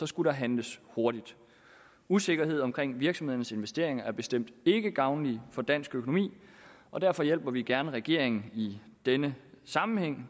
skulle handles hurtigt usikkerhed omkring virksomheders investeringer er bestemt ikke gavnligt for dansk økonomi og derfor hjælper vi gerne regeringen i denne sammenhæng